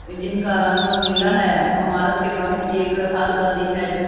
जिनका रंग नीला है अमारत के बहर एक हाथ बंदी है जिस--